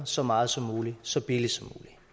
så meget som muligt så billigt